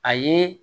A ye